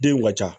Den in ka ca